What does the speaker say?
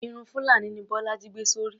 Irun fulani ni bólájí gbé sórí.